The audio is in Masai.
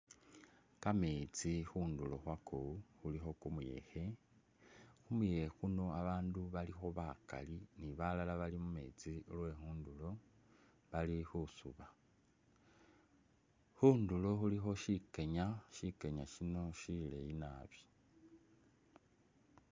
Ka metsi khundulo khwako khulikho kumuyekhe, khumuyekhe kuno ba bandu balikho bakali ni balala bali mu metsi lwe khundulo bali khusuba, khundulo khulikho shikenya, shikenya shino shileyi nabi.